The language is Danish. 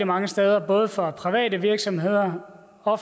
mange steder både fra private virksomheder og